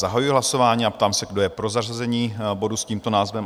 Zahajuji hlasování a ptám se, kdo je pro zařazení bodu s tímto názvem?